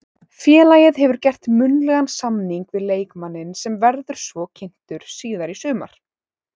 Félagið hefur gert munnlegan samning við leikmanninn sem verður svo kynntur síðar í sumar.